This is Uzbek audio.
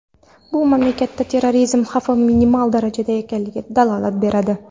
Bu mamlakatda terrorizm xavfi minimal darajada ekanligidan dalolat beradi.